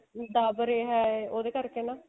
ਉਹਦੇ ਕਰਕੇ ਹਨਾ